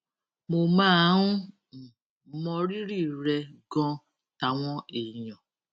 mo máa ń um mọrírì rè ganan táwọn èèyàn